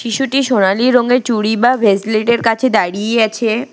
শিশুটি সোনালী রঙের চুড়ি বা ভেসলেট এর কাছে দাঁড়িয়েই আছে।